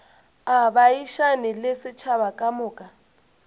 a baagišane le setšhaba kamoka